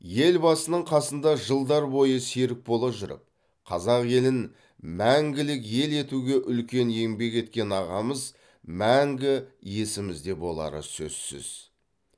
елбасының қасында жылдар бойы серік бола жүріп қазақ елін мәңгілік ел етуге үлкен еңбек еткен ағамыз мәңгі есімізде болары сөзсіз